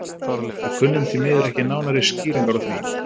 Við kunnum því miður ekki nánari skýringar á því.